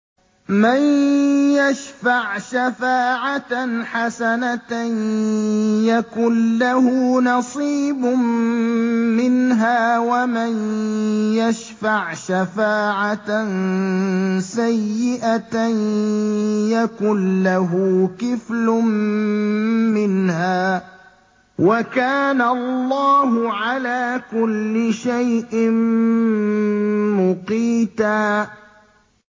مَّن يَشْفَعْ شَفَاعَةً حَسَنَةً يَكُن لَّهُ نَصِيبٌ مِّنْهَا ۖ وَمَن يَشْفَعْ شَفَاعَةً سَيِّئَةً يَكُن لَّهُ كِفْلٌ مِّنْهَا ۗ وَكَانَ اللَّهُ عَلَىٰ كُلِّ شَيْءٍ مُّقِيتًا